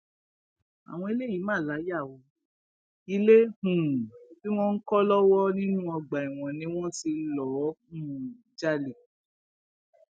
àwọn eléyìí mà láyà o ilé um tí wọn ń kọ lọwọ nínú ọgbà ẹwọn ni wọn ti lọọ um jalè